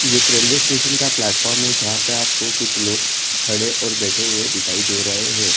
ये एक railway station का प्लेटफॉर्म हे जहा पे आपको कुछ लोग खड़े और बैठे हुए दिखाई दे रहे है।